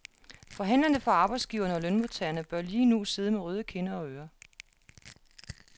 Forhandlerne for arbejdsgiverne og lønmodtagerne bør lige nu sidde med røde kinder og ører.